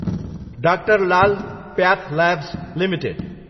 doctor Lal path labs Ltd